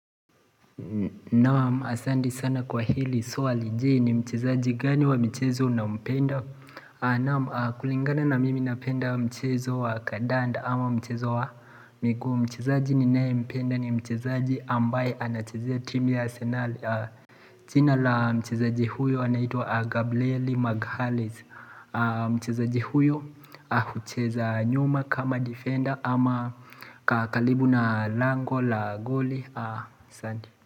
Naam asandi sana kwa hili swali je ni mchezaji gani wa michezo unampenda Naam kulingana na mimi napenda mchezo wa kadanda ama mchezo wa miguu Mchezaji ninaye mpenda ni mchezaji ambaye anachezea timu ya Arsenal jina la mchezaji huyo anaitwa Gabrieli Maghalis Mchezaji huyo hucheza nyuma kama defender ama ka kalibu na lango la goli asanti.